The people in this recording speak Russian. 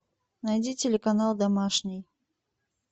найди телеканал домашний